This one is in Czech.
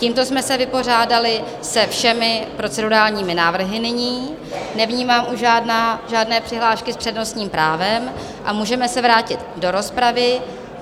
Tímto jsme se vypořádali se všemi procedurálními návrhy nyní, nevnímám už žádné přihlášky s přednostním právem a můžeme se vrátit do rozpravy.